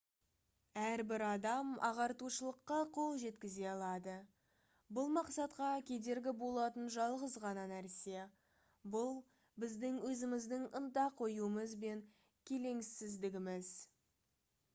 әрбір адам ағартушылыққа қол жеткізе алады бұл мақсатқа кедергі болатын жалғыз ғана нәрсе бұл біздің өзіміздің ынта қоюымыз бен келеңсіздігіміз